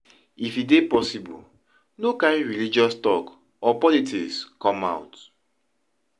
If e dey possible no carry religious talk or politics come out